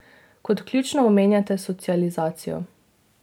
Kot ključno omenjate socializacijo.